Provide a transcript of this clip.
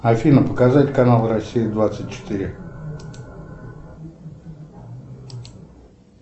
афина показать каналы россия двадцать четыре